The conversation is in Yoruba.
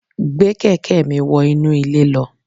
Gbé kẹ̀kẹ́ mi wọ inú ilé lọ